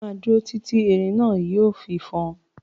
Máa dúró tìti tí erin náà yìí ó fi fọn.